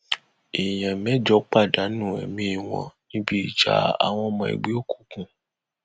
èèyàn mẹjọ pàdánù ẹmí wọn níbi ìjà àwọn ọmọ ẹgbẹ òkùnkùn